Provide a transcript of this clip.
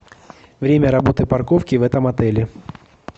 время работы парковки в этом отеле